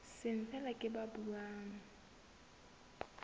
seng feela ke ba buang